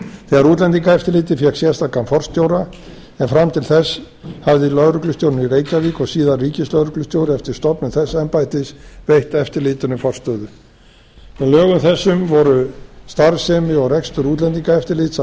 þegar útlendingaeftirlitið fékk sérstakan forstjóra en fram til þess hafði lögreglustjórinn í reykjavík og síðar ríkislögreglustjóri eftir stofnun þess embættis veitt eftirlitinu forstöðu með lögum þessum voru starfsemi og rekstur útlendingaeftirlits